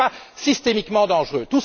Ce n'est pas systémiquement dangereux!